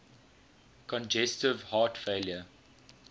congestive heart failure